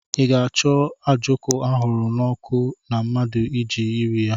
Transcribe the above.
Ị ga-acho a ojoko ahuru na oku na mmadu eji eri ya?